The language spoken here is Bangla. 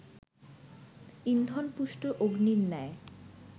ইন্ধনপুষ্ট অগ্নির ন্যায়